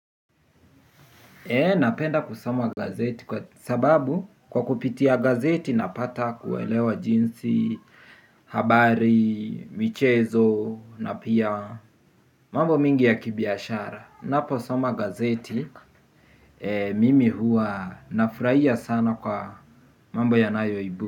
Napenda kusoma gazeti kwa sababu kwa kupitia gazeti napata kuelewa jinsi, habari, michezo na pia mambo mingi ya kibiashara. Napo soma gazeti, mimi hua nafurahia sana kwa mambo ya nayo.